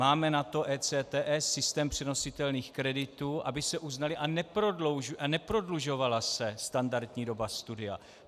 Máme na to ECTS, systém přenositelných kreditů, aby se uznaly a neprodlužovala se standardní doba studia.